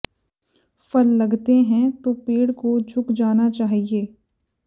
फल लगते हैं तो पेड़ को झुक जाना चाहिए